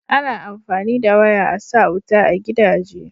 ana amfani da waya a sa wuta a gidaje